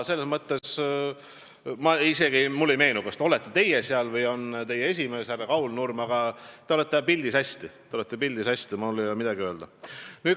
Mulle ei meenu, kas olete seal teie või on seal teie esimees härra Kaul Nurm, aga te olete hästi pildis, mul ei ole midagi öelda.